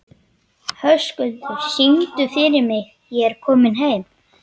Höskuldur, syngdu fyrir mig „Ég er kominn heim“.